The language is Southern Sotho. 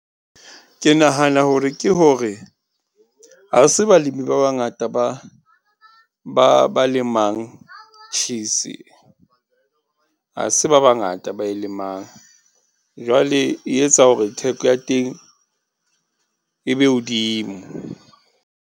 Ke nahana hore ke hore ha se balemi ba bangata ba, ba, ba lemang cheese. Ha se ba bangata ba e lemang. Jwale e etsa hore theko ya teng e be hodimo.